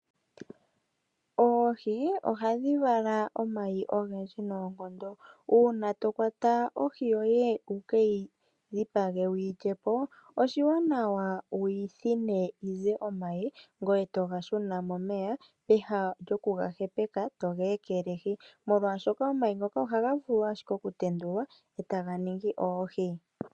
Oohi ohadhi vala omayi ogendji noonkondo. Uuna to kwata ohi yoye wu keyi dhipage wuyi lyepo, oshiwanawa wuyi thine yi ze omayi, ngoye toga shuna momeya, pehala lyokuga hepeka toga ekelehi, molwaashoka omayi ngoka ohaga vulu ashike oku tendulwa, e taga ningi oohi.